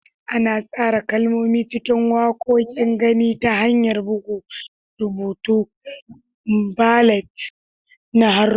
Ana tsara kalmomi cikin waƙoƙin gani ta hanyar buga rubutu, ballet na haruffa.